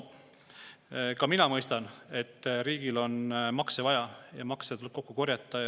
Ka mina mõistan, et riigil on makse vaja, maksuraha tuleb kokku korjata.